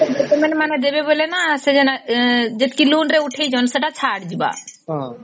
female ମାନେ ଦେବେ ବୋଲେ ନ ସୋ ଯେତକି loan ରେ ଉଠେଇଛନ୍ତି ସେଟା ଛାଡ଼ ଯିବା